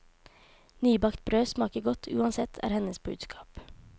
Nybakt brød smaker godt uansett, er hennes budskap.